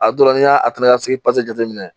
A dɔw la n'i y'a ta ka sigi jateminɛ